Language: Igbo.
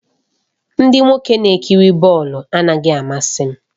Ndị nwoke na-ekiri bọọlụ anaghị amasị m